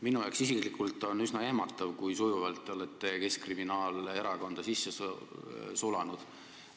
Minu jaoks isiklikult on üsna ehmatav, kui sujuvalt te olete keskkriminaalerakonda sisse sulanud.